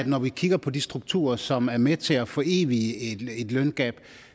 når vi kigger på de strukturer som er med til at forevige et løngab